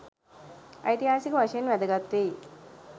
ඓතිහාසික වශයෙන් වැදගත්වෙයි.